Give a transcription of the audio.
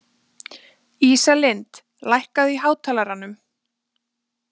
Ísalind, lækkaðu í hátalaranum.